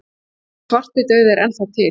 Já, svartidauði er enn þá til.